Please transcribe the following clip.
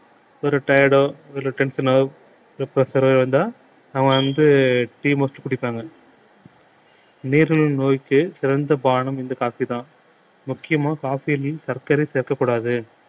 ஒரு tired டோ ஒரு tension ஆவோ pressure ஓ இருந்தா அவங்க வந்து tea mostly குடிப்பாங்க நீரிழிவு நோய்க்கு சிறந்த பானம் இந்த coffee தான் முக்கியமா coffee யில் சர்க்கரை சேர்க்கக் கூடாது